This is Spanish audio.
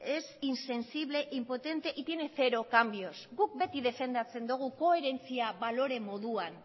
es insensible impotente y tiene cero cambios guk beti defendatzen dugu koherentzia balore moduan